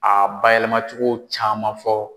A ba yɛlɛma cogo caman fɔ.